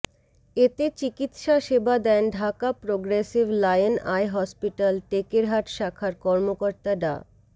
এতে চিকিৎসা সেবা দেন Dhaka progressive lion eye hospital Tekerhat শাখার কর্মকর্তা ডা